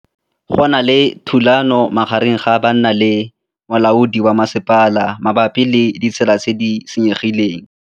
Go na le thulanô magareng ga banna le molaodi wa masepala mabapi le ditsela tse di senyegileng.